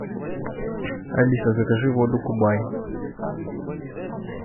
алиса закажи воду кубай